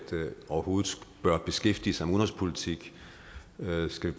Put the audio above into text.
overhovedet bør beskæftige sig med udenrigspolitik og skal